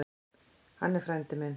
Hann er frændi minn.